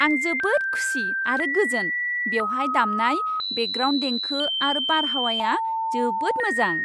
आं जोबोद खुसि आरो गोजोन, बेवहाय दामनाय बेकग्राउन्ड देंखो आरो बारहावाया जोबोद मोजां!